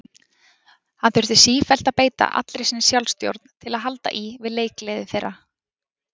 Hann þurfti sífellt að beita allri sinni sjálfstjórn til að halda í við leikgleði þeirra.